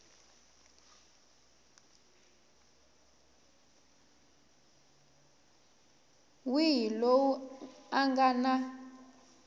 wihi loyi a nga na